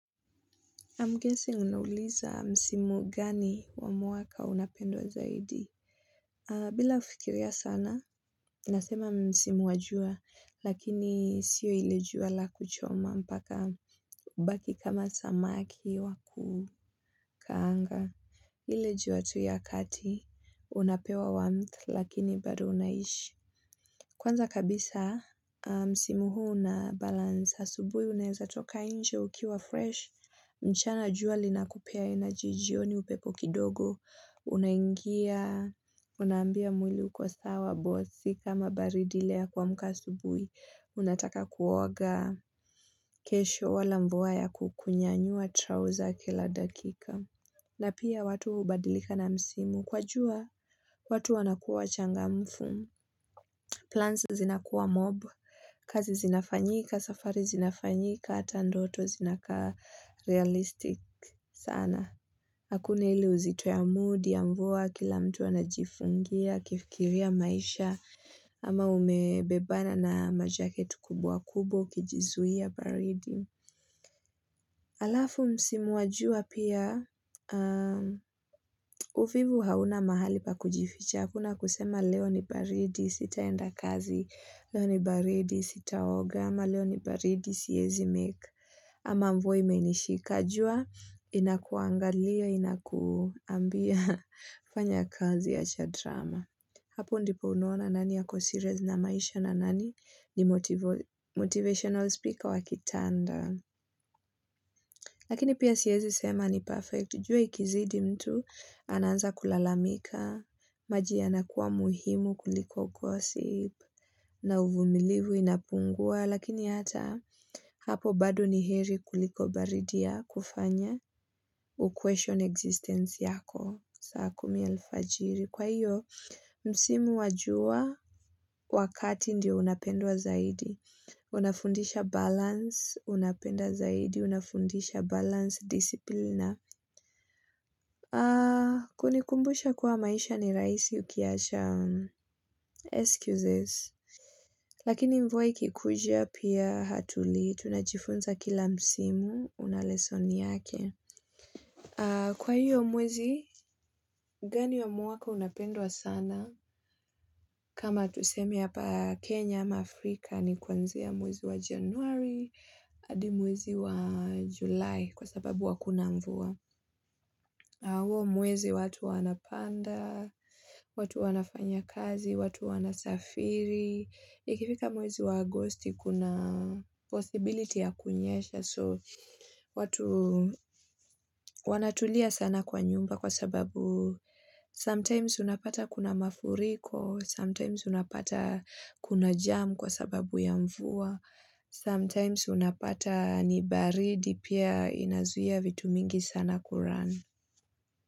I'm guessing unauliza msimu gani wa mwaka unapendwa zaidi. Bila kufikiria sana, nasema msimu wa jua, lakini sio ile jua la kuchoma mpaka ubaki kama samaki waku kaanga. Ile jua tu ya kati, unapewa warmth, lakini bado unaishi. Kwanza kabisa, msimu huu unabalance asubuhi unaezatoka nje ukiwa fresh. Mchana jua linakupea energy jioni upepo kidogo. Unaingia, unambia mwili uko sawa, bora si kama baridi ile ya kuamka akasubui. Unataka kuoga kesho wala mvua ya kukunyanyua trouser kila dakika. Na pia watu hubadilika na misimu. Kwa jua, watu wanakuwa wachangamfu. Plans zinakuwa mob, kazi zinafanyika, safari zinafanyika, hata ndoto zinakaa realistic sana. Hakuna ile uzito ya mood ya mvua kila mtu anajifungia, akifikiria maisha ama umebebana na majaketi kubwa kubwa ukijizuia baridi. Halafu msimu wa jua pia, uvivu hauna mahali pa kujificha. Hakuna kusema leo ni baridi sitaenda kazi, leo ni baridi sitaoga ama leo ni baridi siwezi make ama mvua imenishika. Jua inakuangalia inakwambia fanya kazi wacha drama. Hapo ndipo unaona nani ako serious na maisha na nani ni motivational speaker wa kitanda. Lakini pia siwezi sema ni perfect. Jua ikizidi mtu ananza kulalamika. Maji yanakuwa muhimu kuliko gossip. Na uvumilivu inapungua. Lakini hata hapo bado niheri kuliko baridi ya kufanya uquestion existence yako. Saa kumi alfajiri kwa hio msimu wajua wakati ndio unapendwa zaidi Unafundisha balance unapenda zaidi unafundisha balance discipline na kunikumbusha kuwa maisha ni rahisi ukiacha excuses Lakini mvua ikikuja pia hatulii tunajifunza kila msimu una lesson yake Kwa hiyo mwezi gani ya mwaka unapendwa sana? Kama tuseme hapa Kenya ama Afrika ni kwanzia mwezi wa njanuari hadi mwezi wa Julai kwa sababu hakuna mvua. Huo mwezi watu wanapanda, watu wanafanya kazi, watu wanasafiri, ikifika mwezi wa agosti kuna possibility ya kunyesha so watu wanatulia sana kwa nyumba kwa sababu sometimes unapata kuna mafuriko, sometimes unapata kuna jam kwa sababu ya mvua, sometimes unapata ni baridi pia inazuia vitu mingi sana ku run.